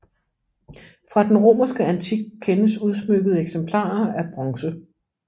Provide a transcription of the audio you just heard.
Fra den romerske antik kendes udsmykkede eksemplarer af bronze